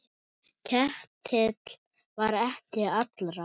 Ketill var ekki allra.